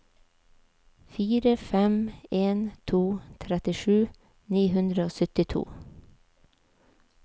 fire fem en to trettisju ni hundre og syttito